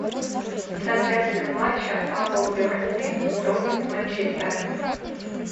трансляция матча апл бернли против манчестера